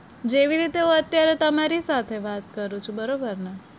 જેવી રીતે હું અત્યારે તમરી સાથે વાત કરું છું બરોબર ને?